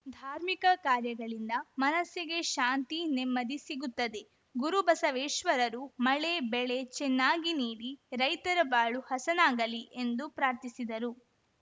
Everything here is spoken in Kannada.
ಧಾರ್ಮಿಕ ಕಾರ್ಯಗಳಿಂದ ಮನಸ್ಸಿಗೆ ಶಾಂತಿ ನೆಮ್ಮದಿ ಸಿಗುತ್ತದೆ ಗುರುಬಸವೇಶ್ವರರು ಮಳೆ ಬೆಳೆ ಚೆನ್ನಾಗಿ ನೀಡಿ ರೈತರ ಬಾಳು ಹಸನಾಗಲಿ ಎಂದು ಪ್ರಾರ್ಥಿಸಿದರು